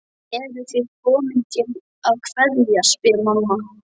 Eruð þið komin til að kveðja, spyr mamma.